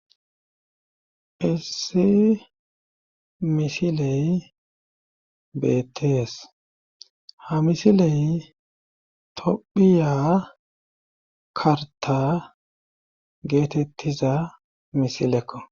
Issi misiley bettees ha misiley tophiya karta geetettiza misilekko